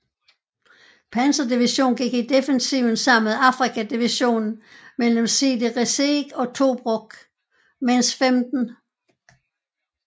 Panzerdivision gik i defensiven sammen med Afrika Divisionen mellem Sidi Rezegh og Tobruk mens 15